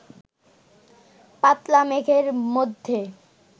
পাতলা মেঘের মধ্যে